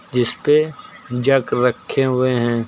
जिस पे जग रखे हुए हैं।